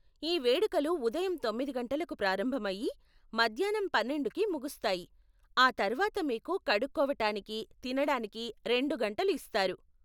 ఈ వేడుకలు ఉదయం తొమ్మిది గంటలకు ప్రారంభమయ్యి, మధ్యాన్నం పన్నెండుకి ముగుస్తాయి, ఆ తర్వాత మీకు కడుక్కోవటానికి, తినటానికి రెండు గంటలు ఇస్తారు.